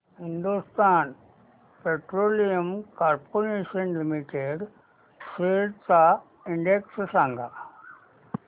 Hindustan Petroleum Corporation Limited shares चा index सांगा